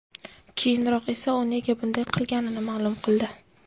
Keyinroq esa u nega bunday qilganini ma’lum qildi .